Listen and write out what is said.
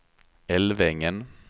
Älvängen